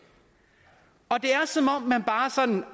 er som om man bare sådan